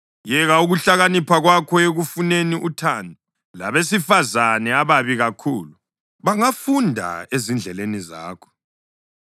Yeka ukuhlakanipha kwakho ekufuneni uthando! Labesifazane ababi kakhulu bangafunda ezindleleni zakho.